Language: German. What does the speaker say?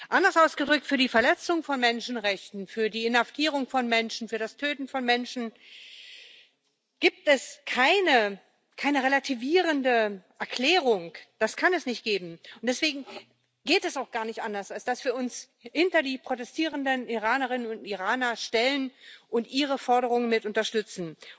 Anders ausgedrückt Für die Verletzung von Menschenrechten, für die Inhaftierung von Menschen, für das Töten von Menschen, gibt es keine relativierende Erklärung das kann es nicht geben und deswegen geht es auch gar nicht anders, als dass wir uns hinter die protestierenden Iranerinnen und Iraner stellen und ihre Forderungen mit unterstützen.